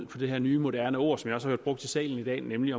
på det her nye moderne ord som jo også har været brugt i salen i dag nemlig